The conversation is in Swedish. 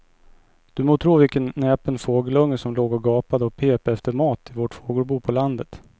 Du må tro vilken näpen fågelunge som låg och gapade och pep efter mat i vårt fågelbo på landet.